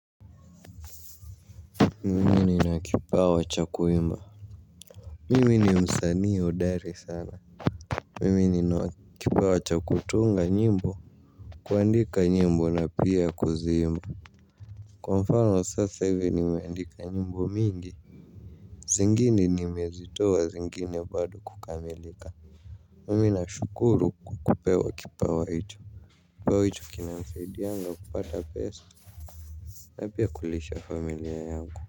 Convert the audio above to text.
Mimi nina wa kipawa cha kuimba. Mimi ni msanii hodari sana. Mimi nina kipawa cha kutunga nyimbo. Kuandika nyimbo na pia kuzimba. Kwa mfano sasa hivi nimeandika nyimbo mingi zingine nimezitoa zingine bado kukamilika. Mimi ninashukuru kwa kupewa kipawa hiicho. Kipawa hicho kina msaidianga kupata pesa. Na pia kulisha familia yangu.